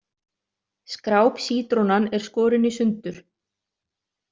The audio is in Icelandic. Skrápsítrónan er skorin í sundur.